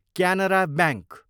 Canara bank